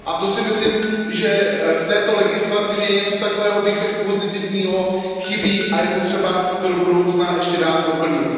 To si myslím, že v této legislativě, tzn. něco takového pozitivního, chybí a je potřeba to do budoucna ještě dále doplnit.